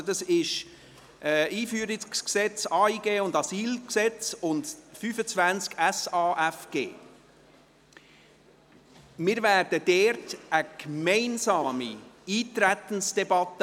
Es geht um das Einführungsgesetz zum Ausländer- und Integrationsgesetz (EG AIG) und zum Asylgesetz (AsylG), und beim Traktandum 25 um das Gesetz über die Sozialhilfe im Asyl- und Flüchtlingsbereich (SAFG).